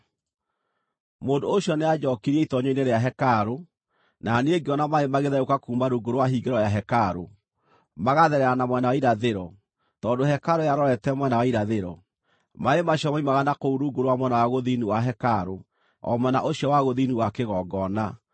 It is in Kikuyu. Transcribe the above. Mũndũ ũcio nĩanjookirie itoonyero-inĩ rĩa hekarũ, na niĩ ngĩona maaĩ magĩtherũka kuuma rungu rwa hingĩro ya hekarũ, magatherera na mwena wa irathĩro (tondũ hekarũ yarorete mwena wa irathĩro). Maaĩ macio moimaga na kũu rungu rwa mwena wa gũthini wa hekarũ, o mwena ũcio wa gũthini wa kĩgongona.